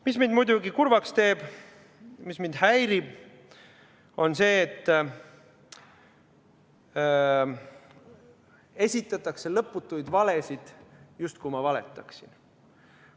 Mis mind muidugi kurvaks teeb, mis mind häirib, on see, et esitatakse lõputuid valesid, justkui ma valetaksin.